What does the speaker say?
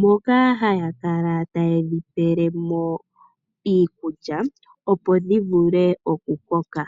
moka hayakala tayedhipelemo iikulya opo dhivule okukoka.